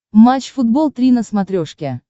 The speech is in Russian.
матч футбол три на смотрешке